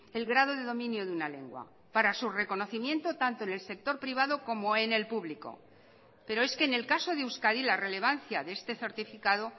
el grado de dominio de una lengua para su reconocimiento tanto en el sector privado como en el público pero es que en el caso de euskadi la relevancia de este certificado